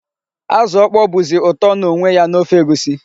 Azụ ọkpọọ bụzi ụtọ n'onwe ya n'ofe egusi.